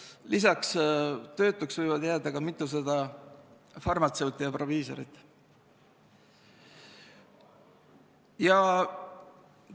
Lisaks võib mitusada farmatseuti ja proviisorit tööta jääda.